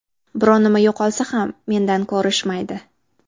Biron nima yo‘qolsa ham mendan ko‘rishmaydi.